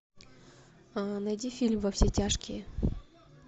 найди фильм во все тяжкие